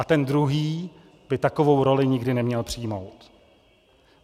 A ten druhý by takovou roli nikdy neměl přijmout.